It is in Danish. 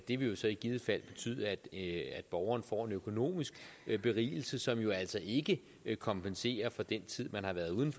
det vil jo så i givet fald betyde at at borgeren får en økonomisk berigelse som altså ikke kompenserer for den tid man har været uden